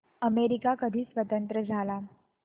America कधी स्वतंत्र झाला